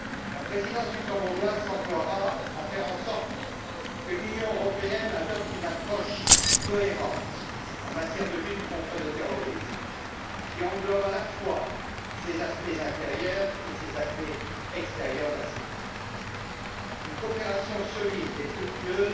La présidence luxembourgeoise s'emploiera à faire en sorte que l'Union européenne adopte une approche cohérente dans la lutte contre le terrorisme, qui englobe, à la fois, ces aspects intérieurs et ces aspects extérieurs de la sécurité, à savoir une coopération solide et fructueuse